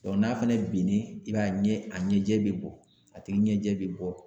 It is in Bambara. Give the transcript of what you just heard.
n'a fana binnen i b'a ye a ɲɛ a ɲɛjɛ be bɔ a tigi ɲɛjɛ be bɔ.